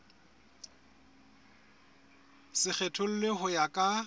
se kgethollwe ho ya ka